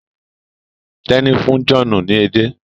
Teni fún John ní ede.